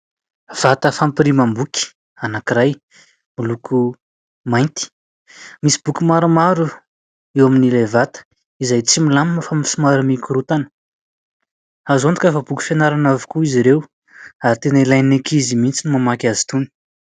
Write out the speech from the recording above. Vata fampirimam-boky anankiray miloko mainty. Misy boky maromaro eo amin'ilay vata izay tsy milamina fa somary mikorontana. Azo antoka fa boky fianarana avokoa izy ireo ary tena ilain'ny ankizy mihitsy ny mamaky azy itony.